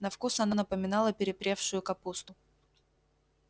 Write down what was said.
на вкус оно напоминало перепревшую капусту